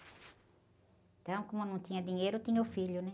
Então, como não tinha dinheiro, tinha o filho, né?